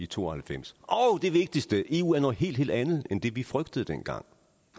to og halvfems og det vigtigste eu er noget helt helt andet end det vi frygtede dengang